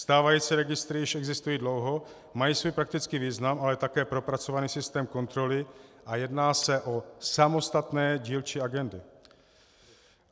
Stávající registry už existují dlouho, mají svůj praktický význam, ale také propracovaný systém kontroly a jedná se o samostatné dílčí agendy.